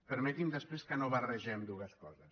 permeti’m després que no barregem dues coses